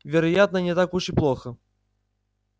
вероятно не так уж и плохо